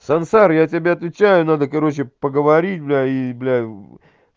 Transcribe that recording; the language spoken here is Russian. сансара я тебе отвечаю надо короче поговорить блядь и блядь